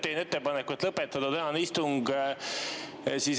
Teen ettepaneku lõpetada tänane istung.